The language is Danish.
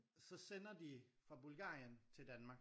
Så sender de fra Bulgarien til Danmark